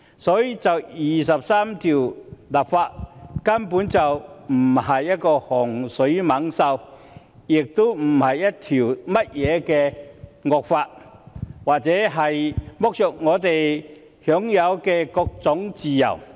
所以，就第二十三條立法根本不是洪水猛獸，亦不是甚麼惡法，也不會剝削我們享有的各種自由。